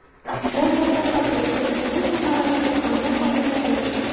Bu katta xato chunki bu samarasiz hamda foydasiz.